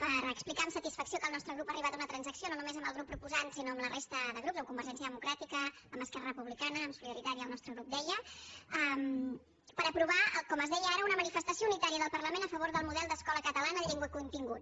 per explicar amb satisfacció que el nostre grup ha arribat a una transacció no només amb el grup proposant sinó amb la resta de grups amb convergència democràtica amb esquerra republicana amb solidaritat i el nostre grup deia per aprovar com es deia ara una manifestació unitària del parlament a favor del model d’escola catalana en llengua i continguts